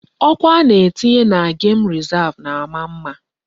Ọkụ a na-etinye na gem rezav na-ama mma.